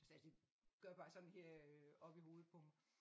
Så altså gør bare sådan her øh oppe i hovedet på mig